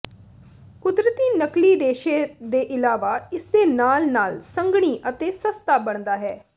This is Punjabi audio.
ਕੁਦਰਤੀ ਨਕਲੀ ਰੇਸ਼ੇ ਦੇ ਇਲਾਵਾ ਇਸਦੇ ਨਾਲ ਨਾਲ ਸੰਘਣੀ ਅਤੇ ਸਸਤਾ ਬਣਦਾ ਹੈ